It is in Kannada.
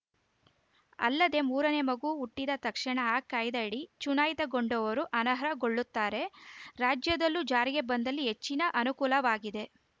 ಅಲ್ಲದೆ ಮೂರ ನೇ ಮಗು ಹುಟ್ಟಿದ ತಕ್ಷಣ ಈ ಕಾಯ್ದೆಯಡಿ ಚುನಾಯಿತಗೊಂಡವರು ಅನರ್ಹಗೊಳ್ಳುತ್ತಾರೆ ರಾಜ್ಯದಲ್ಲೂ ಜಾರಿಗೆ ಬಂದಲ್ಲಿ ಹೆಚ್ಚಿನ ಅನುಕೂಲವಾಗಿದೆ